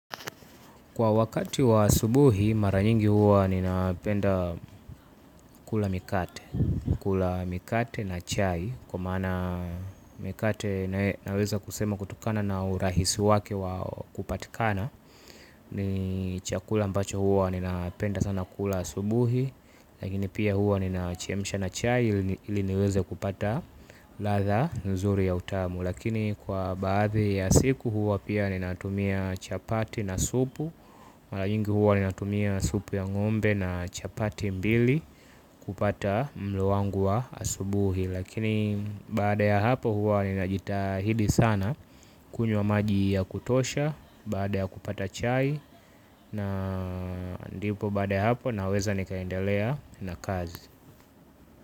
Kwa wakati wa asubuhi maranyingi huwa ninapenda kula mikate na chai. Kwa maana mikate naweza kusema kutokana na urahisi wake wa kupatikana. Ni chakula ambacho huwa ninapenda sana kula asubuhi. Lakini pia huwa ninachemsha na chai ili niweze kupata ladha nzuri ya utamu. Lakini kwa baadhi ya siku huwa pia ninatumia chapati na supu. Mara nyingi huwa ninatumia supu ya ngombe na chapati mbili kupata mlo wangu wa asubuhi. Lakini baada ya hapo huwa ninajitahidi sana kunywa maji ya kutosha. Baada ya kupata chai na ndipo baada ya hapo naweza nikaendelea na kazi.